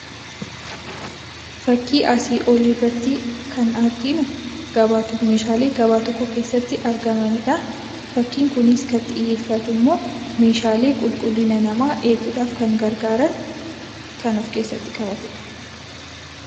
Fakkii asii oliirratti kan arginu gabaatu meeshaalee gabaa tokko keessatti argamanidha. Fakkiin kunis kan xiyyeeffatummoo meeshaalee qulqullina namaa eeguudhaaf garagaaran kan of keessatti qabatedha.